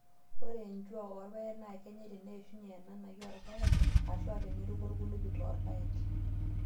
Ore enjuaa orpaek naa kenyae teneishunye enanai oorpaek ashua teneroku irkulupi loorpaek.